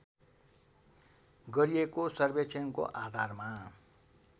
गरिएको सर्वेक्षणको आधारमा